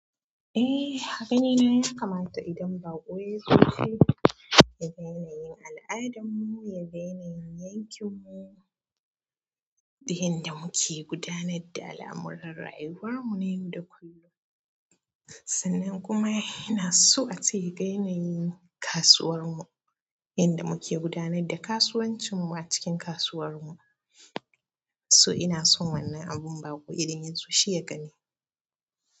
Eh, a ganina ya kamata idan baƙo ya zo shi, ya ga yanayin al'adarmu, ya ga yanayin yankin mu, da yanda muke gudanar da al'amuran rayuwarmu na yau da kullum. Sannan kuma ina so ace yaga yana yin kasuwar mu, yanda muke gudanar da kasuwancin mu a cikin kasuwar mu. To ina so wannan abun baƙo idan yazo shi ya gani.